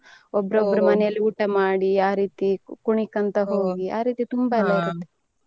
ಮನೆಯಲ್ಲಿ ಊಟ ಮಾಡಿ ಆ ರೀತಿ ಕುಣಿಕೊಂತ ಹೋಗಿ ಆ ರೀತಿ ತುಂಬಾ ಇರುತ್ತೆ .